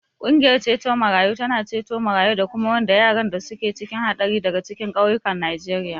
Ƙungiyar ceto marayu tana ceto marayu da kuma wanda yaran da suke cikin haɗari daga cikin ƙauyukan Najeriya.